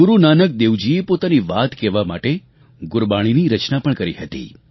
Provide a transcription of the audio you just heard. ગુરૂ નાનક દેવજીએ પોતાની વાત કહેવા માટે ગુરબાણીની રચના પણ કરી હતી